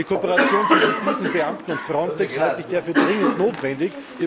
Eine Kooperation zwischen diesen Beamten und FRONTEX halte ich daher für dringend notwendig.